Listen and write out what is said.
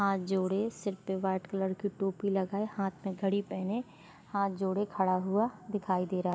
हाथ जोड़े सिर पे वाइट कलर की टोपी लगाए हाथ में घड़ी पहने हाथ जोड़े खड़ा हुआ दिखाई दे रहा है।